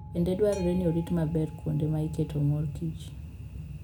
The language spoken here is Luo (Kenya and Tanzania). Bende dwarore ni orit maber kuonde ma iketoe mor kich.